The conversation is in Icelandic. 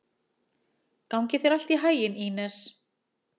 Gangi þér allt í haginn, Ínes.